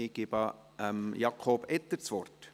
Ich gebe Jakob Etter das Wort.